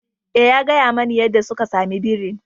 Eh, ya gaya mani yadda suka samu birin.